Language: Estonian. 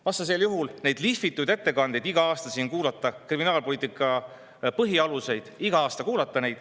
Vastasel juhul kuulame iga aasta siin neid lihvitud ettekandeid kriminaalpoliitika põhialustest.